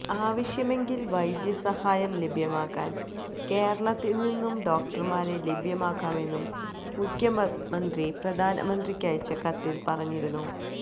ആവശ്യമെങ്കിൽ വൈദ്യം സഹായം ലഭ്യമാക്കാൻ കേരളത്തിൽ നിന്നുള്ള ഡോക്ടർമാരെ ലഭ്യമാക്കാമെന്നും മുഖ്യമന്ത്രി പ്രധാനമന്ത്രിക്കയച്ച കത്തിൽ പറഞ്ഞിരുന്നു